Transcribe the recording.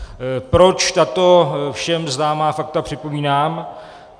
Proč tato všem známá fakta připomínám?